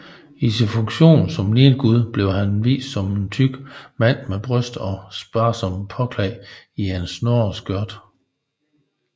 I sin funktion som nilgud blev han vist som en tyk mand med bryster og sparsomt påklædt i et snoreskørt